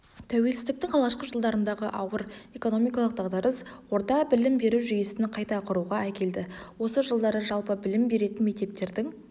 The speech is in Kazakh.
тәуелсіздіктің алғашқы жылдарындағы ауыр экономикалық дағдарыс орта білім беру жүйесін қайта құруға әкелдіосы жылдары жалпы білім беретін мектептердің